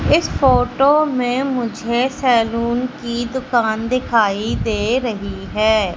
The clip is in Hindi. इस फोटो में मुझे सैलून की दुकान दिखाई दे रही है।